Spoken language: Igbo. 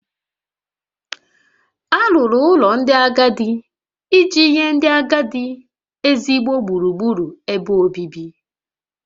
Alụrụ ụlọ ndị agadi iji nye ndị agadi ezigbo gburugburu ebe obibi